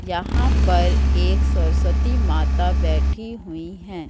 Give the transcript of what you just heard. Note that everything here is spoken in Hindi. यहां पर एक सरस्वती माता बैठी हुई है।